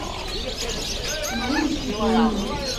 мариночке прониной